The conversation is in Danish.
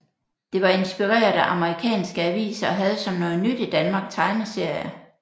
Det var inspireret af amerikanske aviser og havde som noget nyt i Danmark tegneserier